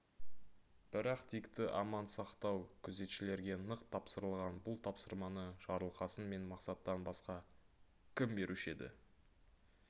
бірақ дикті аман сақтау күзетшілерге нық тапсырылған бұл тапсырманы жарылқасын мен мақсаттан басқа кім беруші еді